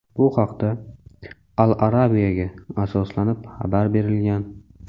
Bu haqda "Al Arabia"ga asoslanib xabar berilgan.